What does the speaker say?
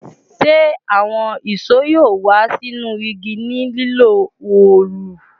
Ṣe awọn ìṣó yoo wa sinu igi ni lilo òòlù?